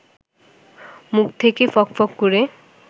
মুখ থেকে ফকফক করে